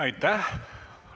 Aitäh!